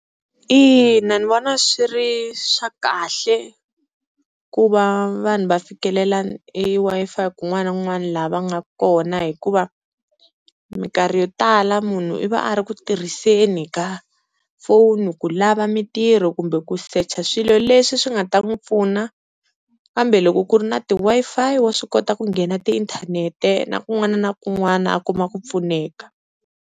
Ina ni vona swi ri swa kahle ku va vanhu va fikelela e Wi-Fi kun'wana na kun'wana laha va nga kona, hikuva minkarhi yo tala munhu i va a ri ku tirhiseni ka phone ku lava mintirho kumbe ku secha swilo leswi swi nga ta n'wi pfuna kambe loko ku ri na ti-Wi-Fi, wa swi kota ku nghena tiinthanete na kun'wana na kun'wana a kuma ku pfuneka.